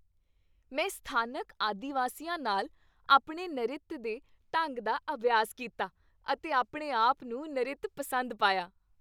ਮੈਂ ਸਥਾਨਕ ਆਦਿ ਵਾਸੀਆਂ ਨਾਲ ਆਪਣੇ ਨਰਿਤ ਦੇ ਢੰਗ ਦਾ ਅਭਿਆਸ ਕੀਤਾ ਅਤੇ ਆਪਣੇ ਆਪ ਨੂੰ ਨਰਿਤ ਪਸੰਦ ਪਾਇਆ।